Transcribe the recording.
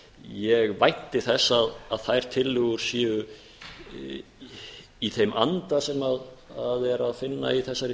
ég vænti þess að þær tillögur séu í þeim anda sem er að finna í þessari